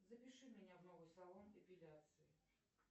запиши меня в новый салон эпиляции